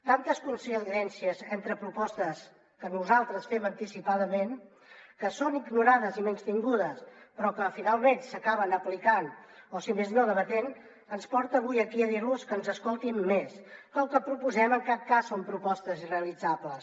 tantes coincidències entre propostes que nosaltres fem anticipadament que són ignorades i menystingudes però que finalment s’acaben aplicant o si més no debatent ens porten avui aquí a dir los que ens escoltin més que el que proposem en cap cas són propostes irrealitzables